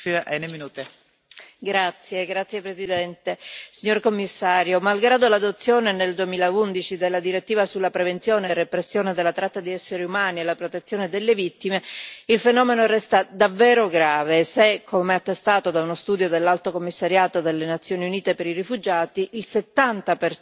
Signora Presidente, onorevoli colleghi, signor commissario, malgrado l'adozione nel 2011 della direttiva sulla prevenzione e la repressione della tratta di esseri umani e la protezione delle vittime, il fenomeno resta davvero grave se, come attestato da uno studio dell'Alto commissariato delle Nazioni Unite per i rifugiati, il 70